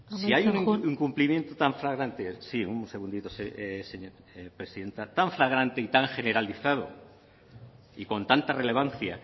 si hay un incumplimiento tan flagrante y tan generalizado y con tanta relevancia